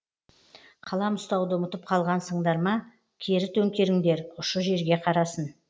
қалам ұстауды ұмытып қалғансыңдар ма кері төңкеріңдер ұшы жерге қарасын